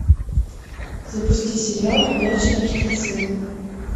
запусти сериал ходячие мертвецы